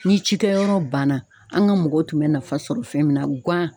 Ni cikɛyɔrɔ banna an ga mɔgɔw tun bɛ nafa sɔrɔ fɛn min na ŋan